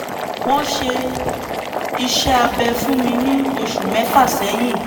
wọ́n ṣe iṣẹ́ abẹ fún mi ní oṣù mẹ́fà sẹ́yìn